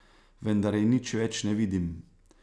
Vendar je nič več ne vidim.